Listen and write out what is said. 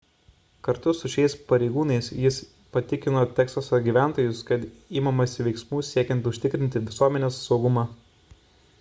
kartu su šiais pareigūnais jis patikino teksaso gyventojus kad imamasi veiksmų siekiant užtikrinti visuomenės saugumą